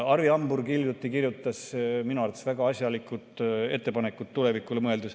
Arvi Hamburg kirjutas hiljuti minu arvates väga asjalikud ettepanekud tulevikule mõeldes.